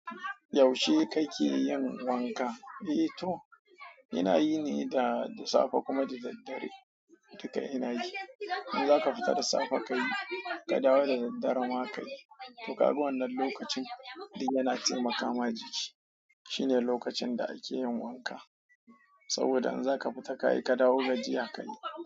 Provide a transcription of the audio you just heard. Yaushe kake yin wanka, eh to ina yi ne da safe kuma da daddare. Duka ina yi. In za ka fita da safe ka yi, ka dawo da daddare ma ka yi. To kaga wannan lokacin duk yana taimaka ma jiki. Shine lokacin da ake yin wanka. Saboda in za ka fita ka yi, ka dawo gajiya ka yi.